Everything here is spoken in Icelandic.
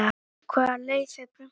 hvaða leið fer prumpið